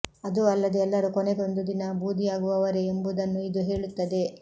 ಇದೂ ಅಲ್ಲದೆ ಎಲ್ಲರೂ ಕೊನೆಗೊಂದು ದಿನ ಭೂದಿಯಾಗುವವರೇ ಎಂಬುದನ್ನೂ ಇದು ಹೇಳುತ್ತದೆ